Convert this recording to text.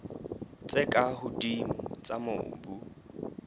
tse ka hodimo tsa mobu